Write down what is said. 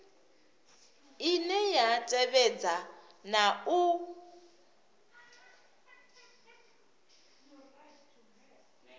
ine ya tevhedza na u